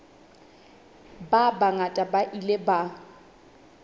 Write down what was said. ba bangata ba ile ba